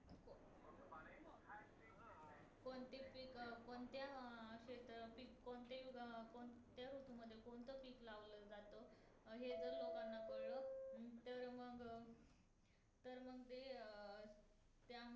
पण ते पीक अं कोणत्या अं शेत पीक कोणतेही उग कोणत्या ऋतू मध्ये कोणतं पीक लावलं जात हे जर लोकांना कळलं हम्म तर मग तर ते अं तर मग ते